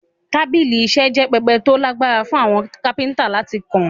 Tábìlì iṣẹ́ jẹ́ pẹpẹ tó lágbára fún àwọn kápẹ́ntà láti kọ́